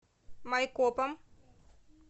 майкопом